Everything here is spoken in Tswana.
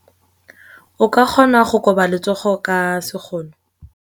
O ka kgona go koba letsogo ka sekgono.